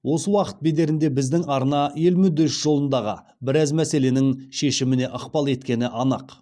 осы уақыт бедерінде біздің арна ел мүддесі жолындағы біраз мәселенің шешіміне ықпал еткені анық